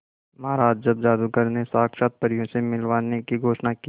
महाराज जब जादूगर ने साक्षात परियों से मिलवाने की घोषणा की